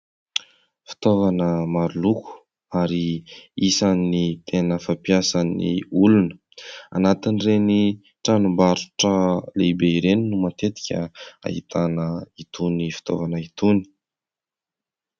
Fitaovana maroloko ary isan'ny tena fampiasan'ny olona anatin'ireny tranombarotra lehibe ireny no matetika ahitana itony fitaovana itony.